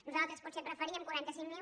nosaltres potser preferíem quaranta cinc mil